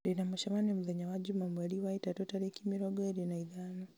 ndĩ na mũcemanio mũthenya wa njuuma mweri wa ĩtatũ tarĩki mĩrongo ĩrĩ na ithano